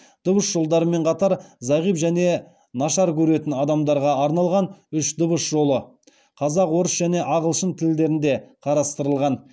дыбыс жолдарымен қатар зағип және нашар көретін адамдарға арналған үш дыбыс жолы қарастырылған